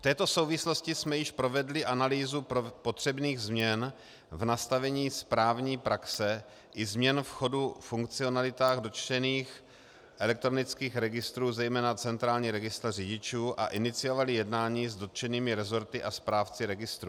V této souvislosti jsme již provedli analýzu potřebných změn v nastavení správní praxe i změn v chodu funkcionalit dotčených elektronických registrů, zejména centrální registr řidičů, a iniciovali jednání s dotčenými resorty a správci registrů.